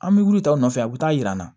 An bɛ wuli tɔw nɔfɛ a bɛ taa yira an na